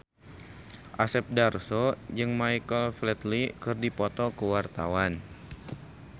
Asep Darso jeung Michael Flatley keur dipoto ku wartawan